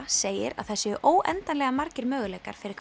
segir að það séu óendanlega margir möguleikar fyrir